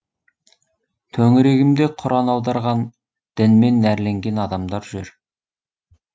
төңірегімде құран аударған дінмен нәрленген адамдар жүр